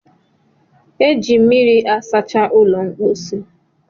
a na-eji mmiri asacha ụlọ mposi